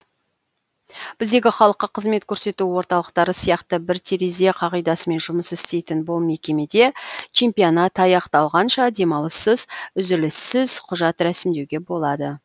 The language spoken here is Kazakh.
біздегі халыққа қызмет көрсету орталықтары сияқты бір терезе қағидасымен жұмыс істейтін бұл мекемеде чемпионат аяқталғанша демалыссыз үзіліссіз құжат рәсімдеуге болады